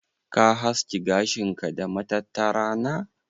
Ka haski gashin ka da matattara na?